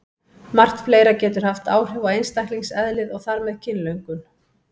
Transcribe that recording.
Margt fleira getur haft áhrif á einstaklingseðlið og þar með kynlöngun.